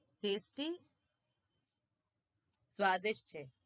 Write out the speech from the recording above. છે